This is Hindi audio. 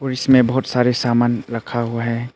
इसमें बहुत सारे सामान रखा हुआ है।